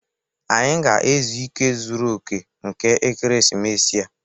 Anyị ga-ezu ike zuru oke nke ekeresimesi a